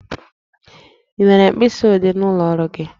Ị nwere mkpịsi odee n'ụlọ ọrụ gị?